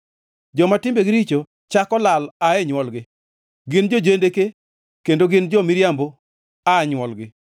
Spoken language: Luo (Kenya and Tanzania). Joma timbegi richo chako lal ae nywolgi; gin jo-jendeke kendo gin jo-miriambo aa nywolgi.